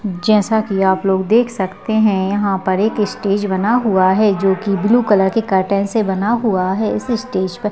जैसा की आपलोग देख सकते हैं यहाँ पर एक स्टेज बना हुआ है जो की ब्लू कलर के कर्टेन से बना हुआ है इस स्टेज पर --